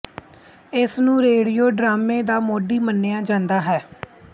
ਇਸਨੂੰ ਰੇਡੀਓ ਡਰਾਮੇ ਦਾ ਮੋਢੀ ਮੰਨਿਆ ਜਾਂਦਾ ਹੈ